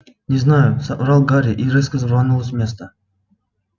не знаю соврал гарри и резко рванул с места